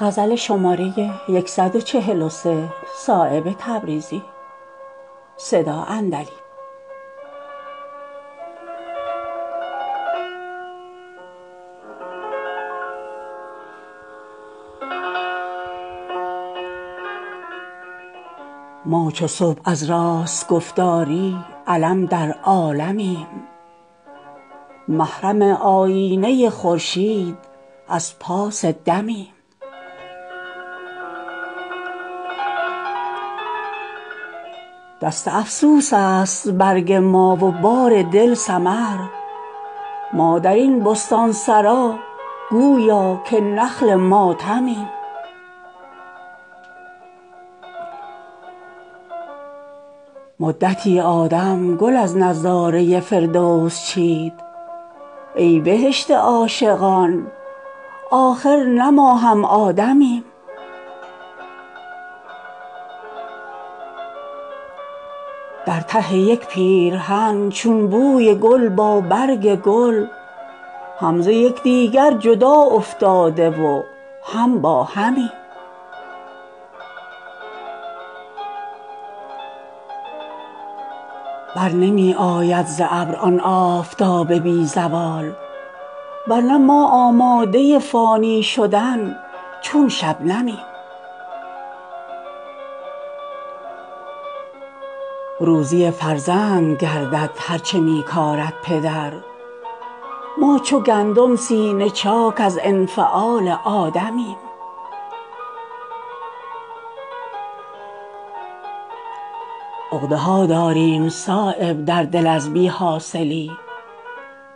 ما چو صبح از راست گفتاری علم در عالمیم محرم آیینه خورشید از پاس دمیم از گرانقدری درین دریا گره گردیده ایم ورنه چون آب گهر ما فارغ از بیش و کمیم سروآزادیم بر ما بی بریها بار نیست با کمال تنگدستی تازه روی و خرمیم خواهد افتادن به فکر ما سلیمان زمان گر به دست دیو نفس افتاده همچون خاتمیم در دل سنگین او داریم راهی چون شرار گر به ظاهر در حریم وصل او نامحرمیم دست افسوس است برگ ما و بار دل ثمر ما درین بستانسرا گویا که نخل ماتمیم پرده برداریم اگر از داغ عالمسوز عشق خاکدان آفرینش را سواد اعظمیم سعی در طی کردن طومار شهرت می کنیم ورنه ما در باد دستی پیش پیش حاتمیم مدتی آدم گل از نظاره فردوس چید ای بهشت عاشقان آخر نه ما هم آدمیم چشم ما پوشیده گردیده است از شرم حضور ورنه با گل در ته یک پیرهن چون شبنمیم دم زدن کفرست در جایی که عیسی ناطق است حق به دست ماست گر خاموش همچون مریمیم برنمی آید ز ابر آن آفتاب بی زوال ورنه ما آماده فانی شدن چون شبنمیم در ته یک پیرهن چون بوی گل با برگ گل هم زیکدیگر جدا افتاده و هم با همیم بی زبانی مخزن اسرار را باشد کلید ما به مهر خامشی مستغنی از جام جمیم روزی فرزند گردد هر چه می کارد پدر ما چو گندم سینه چاک از انفعال آدمیم چشم بد باشد به قدر نقش چون افتد زیاد ما ز چشم شور مردم ایمن از نقش کمیم عقده ها داریم در دل صایب از بی حاصلی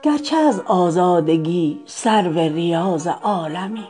گرچه از آزادگی سرو ریاض عالمیم